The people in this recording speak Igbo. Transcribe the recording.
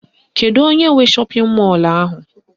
Kedu onye nwe shọpịn mọlụ ahụ?